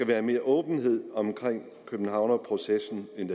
være mere åbenhed omkring københavnerprocessen end